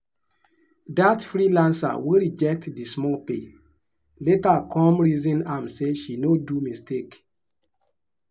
that freelancer wey reject the small pay later come reason am say she no do mistake.